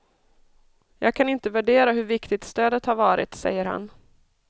Jag kan inte värdera hur viktigt stödet har varit, säger han.